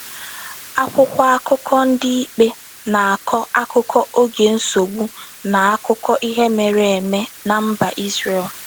Akwụkwọ akụkọ Ndị Ikpe na-akọ akụkọ oge nsogbu n’akụkọ ihe mere eme na mba Izrel.